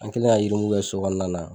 An kɛlen ka yirimugu kɛ sokɔnɔna na.